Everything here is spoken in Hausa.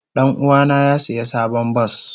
Danuwa na ya siya sabon bas.